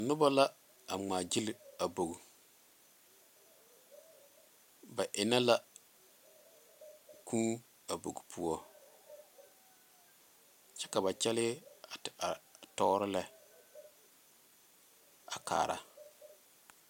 Noba la a ŋmaa gyile a bogi ba eŋe la kūū a bogi poɔ kyɛ ka ba kyɛle a te are tɔɔre lɛ a kaara.